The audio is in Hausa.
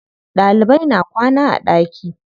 Ɗalibai na kwana a ɗaki.